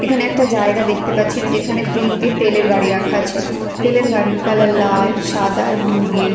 এখানে একটা জায়গা দেখতে পাচ্ছি যেখানে তিনটি তেলের গাড়ি রাখা আছে তেলের গাড়ির কালার লাল সাদা আর ব্লু দিয়ে--